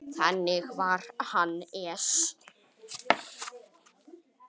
Þannig var Hannes.